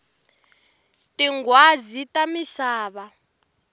tinghwazi ta misava